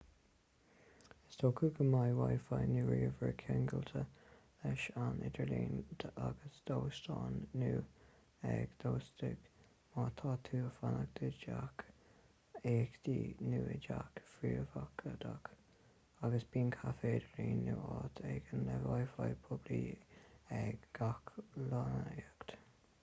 is dócha go mbeidh wifi nó ríomhaire ceangailte leis an idirlíon ag d’óstán nó ag d’óstaigh má tá tú ag fanacht i dteach aíochta nó i dteach príobháideach agus bíonn caife idirlín nó áit éigin le wifi poiblí ag gach lonnaíocht